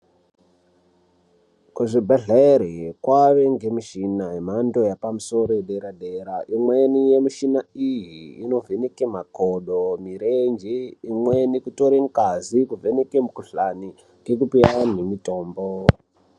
Kuzvibhedhleri kwaane ngemuchina yemhando yepamusoro yedera dera. Inoona mushina iyi, inovheneka makodo, mirenj, imweni kutora ngazi kubva mukhuhlani ngekupa andu mitombo.